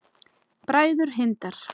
Bræður Hindar